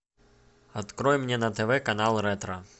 открой мне на тв канал ретро